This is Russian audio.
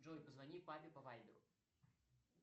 джой позвони папе по вайберу